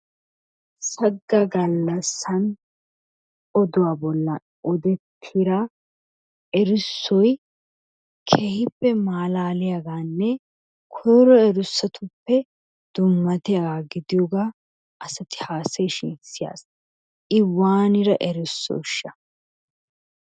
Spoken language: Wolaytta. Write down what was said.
Sagga gallassan oduwa bolla odettira erissoy keehippe malaaliyagaanne koyro erissotuppe dummatiyagaa gidiyogaa asati haasayishin siyaas I waanira erissosha?